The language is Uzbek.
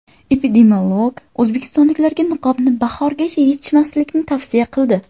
Epidemiolog o‘zbekistonliklarga niqobni bahorgacha yechmaslikni tavsiya qildi.